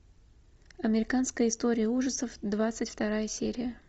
американская история ужасов двадцать вторая серия